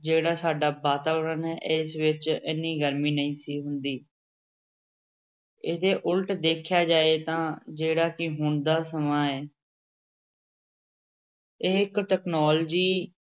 ਜਿਹੜਾ ਸਾਡਾ ਵਾਤਾਵਰਨ ਹੈ ਇਸ ਵਿੱਚ ਇੰਨੀ ਗਰਮੀ ਨਹੀਂ ਸੀ ਹੁੰਦੀ ਇਹਦੇ ਉੱਲਟ ਦੇਖਿਆ ਜਾਏ ਤਾਂ ਜਿਹੜਾ ਕਿ ਹੁਣ ਦਾ ਸਮਾਂ ਹੈ ਇਹ ਇੱਕ technology